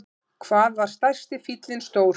Hvað var stærsti fíllinn stór?